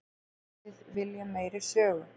Við viljum meiri sögu.